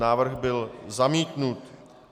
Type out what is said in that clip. Návrh byl zamítnut.